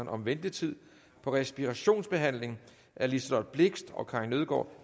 om ventetid på respirationsbehandling af liselott blixt og karin nødgaard